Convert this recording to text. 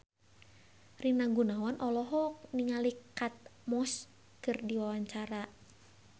Rina Gunawan olohok ningali Kate Moss keur diwawancara